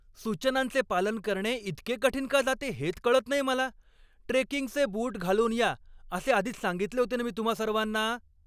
सूचनांचे पालन करणे इतके कठीण का जाते हेच कळत नाही मला. ट्रेकिंगचे बूट घालून या असे आधीच सांगितले होते नं मी तुम्हां सर्वांना.